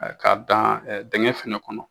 K'a dan dinkɛn fana kɔnɔ